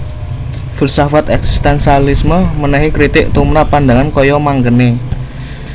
Filsafat eksistensialisme menehi kritik tumprap pandangan kaya mengkene